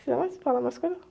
Precisa mais? Falar mais coisas?